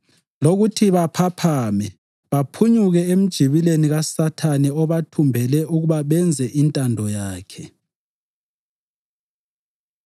lokuthi baphaphame, baphunyuke emjibileni kaSathane obathumbele ukuba benze intando yakhe.